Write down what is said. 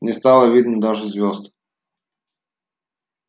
не стало видно даже звёзд